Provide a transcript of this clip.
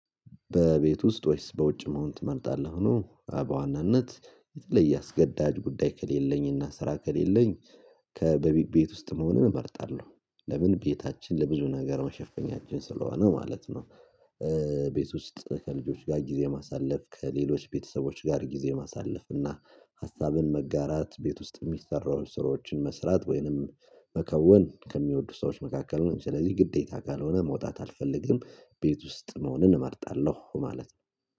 በቤት ውስጥ ወይስ በውጭ መሆን ትመርጣለህ? ሆኖ በዋናነት የተለየ አስገዳጅ ጉዳይ ከሌለኝና ስራ ከሌለኝ ከቤት ውስጥ መሆኑን እመርጣለሁ ለምን ቤታችን ለብዙ ነገር መሸፈኛችን ስለሆነ ማለት ነው። ቤት ውስጥ ከልጆች ጋር ጊዜ ማሳለፍ ከሌሎች ቤተሰቦች ጋር ጊዜ ማሳለፍ እና ሀሳብን መጋራት ቤት ውስጥ የሚሰራውን ስራዎችን መስራት ወይንም መከወን ከሚወዱ ሰዎች መካከል ነው። ስለዚህ ግዴታ ካልሆነ መውጣት አልፈልግም ቤት ውስጥ መሆንን እመርጣለሁ ማለት ነው።